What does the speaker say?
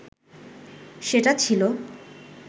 সেটা ছিল